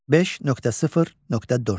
5.0.4.